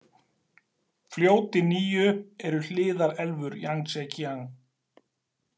Fljótin níu eru hliðarelfur Jangtsekíang .